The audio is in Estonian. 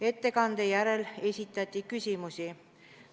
Ettekande järel esitati küsimusi.